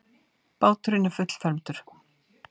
Báturinn er fullfermdur.